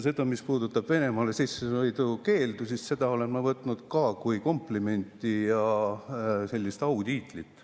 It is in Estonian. Seda, mis puudutab Venemaale sissesõidu keeldu, olen ma võtnud ka kui komplimenti ja sellist autiitlit.